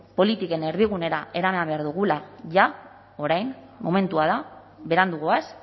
politikaren erdigunera eraman behar dugula jada orain momentua da berandu goaz